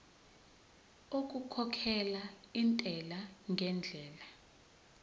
okukhokhela intela ngendlela